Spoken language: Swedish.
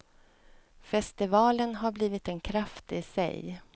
Festivalen har blivit en kraft isig.